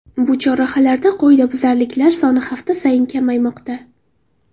Bu chorrahalarda qoidabuzarliklar soni hafta sayin kamaymoqda.